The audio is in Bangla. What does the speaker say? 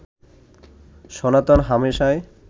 সনাতন হামেশাই